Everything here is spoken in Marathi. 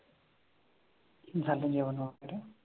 झालं जेवणआपलं?